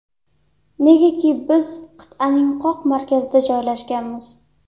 Negaki biz qit’aning qoq markazida joylashganmiz.